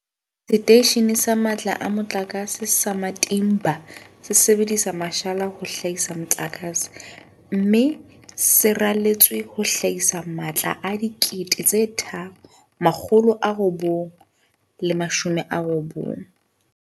Seteishene sa Matla a Mo tlakase sa Matimba se sebedisa mashala ho hlahisa motlakase, mme se raletswe ho hlahisa matla a 3990 MW.